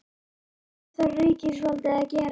En hvað þarf ríkisvaldið að gera?